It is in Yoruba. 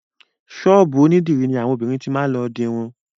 Ṣọ́ọ̀bù onídìrí ní àwọn obìnrin ti máa lọ dirun.